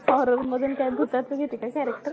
horror मधून काय भूताच घेते का character